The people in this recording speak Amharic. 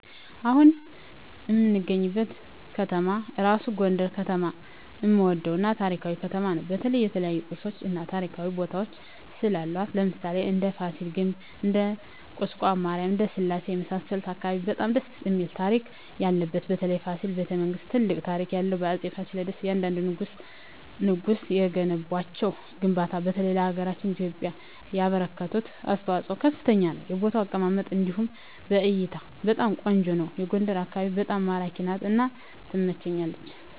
አሁን እምገኝበት ከተማ እራሡ ጎንደር ከተማ እምወደው እና ታሪካዊ ከተማ ነው በተለይ የተለያዮ ቅርሶች እና ታሪካዊ ቦታወች ስላሏት ለምሣሌ እንደ ፍሲል ግቢ እንደ ቁስቋም ማሪያም እንደ ስላሴ የመሣሠሉት አካባቢ በጣም ደስ እሚል ታሪክ ያለበት በተለይ ፋሲል በተ መንግስት ትልቅ ታሪክ ያለው በአፄ ፍሲል እያንደንዱ ንጉስ የገነቧቸው ግንባታ በተለይ ለሀገራችን ለኢትዮጵያ ያበረከቱት አስተዋፅኦ ከፍተኛ ነው የቦታ አቀማመጡ እንዲሁ ለእይታ በጣም ቆንጆ ነው አና ጎንደር አካቢዋ በጣም ማራኪ ናት እና ትመቸኛለች